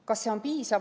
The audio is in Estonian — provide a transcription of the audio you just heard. Kas see on piisav?